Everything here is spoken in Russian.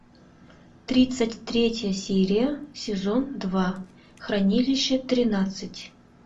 тридцать третья серия сезон два хранилище тринадцать